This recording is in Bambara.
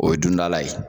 O ye dundala ye